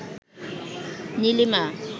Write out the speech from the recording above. Nilima